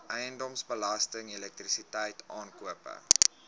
eiendomsbelasting elektrisiteit aankope